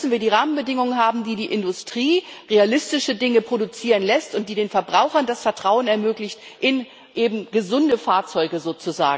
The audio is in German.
Da müssen wir die Rahmenbedingungen haben, die die Industrie realistische Dinge produzieren lassen und die den Verbrauchern das Vertrauen in sozusagen gesunde Fahrzeuge ermöglichen.